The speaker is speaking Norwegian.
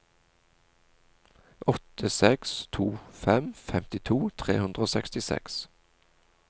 åtte seks to fem femtito tre hundre og sekstiseks